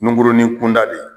Nunkurunin kunda de